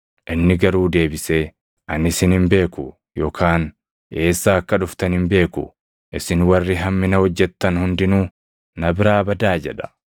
“Inni garuu deebisee, ‘Ani isin hin beeku yookaan eessaa akka dhuftan hin beeku. Isin warri hammina hojjettan hundinuu na biraa badaa!’ jedha.